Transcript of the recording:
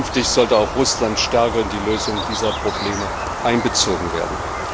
Künftig sollte auch Russland stärker in die Lösung dieser Probleme einbezogen werden.